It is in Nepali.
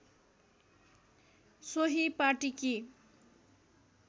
सोही पाटीकी